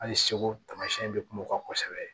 Hali segu tamasiyɛn bɛ kuma o kan kosɛbɛ